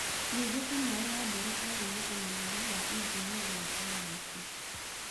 Ningĩ Kamau wa Mburu aarĩ na ũmenyeru wa injinia na sayansi.